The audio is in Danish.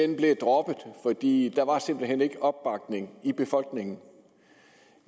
den blev droppet fordi der simpelt hen ikke var opbakning i befolkningen